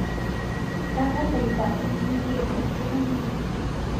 ndagũthaitha ũnyihie thauti hanini